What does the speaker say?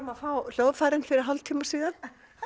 að fá hljóðfærin fyrir hálftíma síðan